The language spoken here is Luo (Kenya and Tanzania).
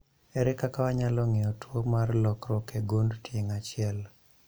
. Ere kaka wanyalo ng'eyo tuo mar lokruok e gund tieng' achiel?